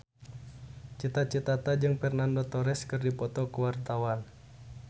Cita Citata jeung Fernando Torres keur dipoto ku wartawan